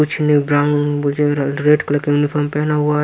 कुछ red colour का uniform पहना हुआ है।